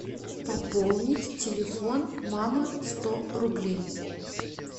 пополнить телефон мама сто рублей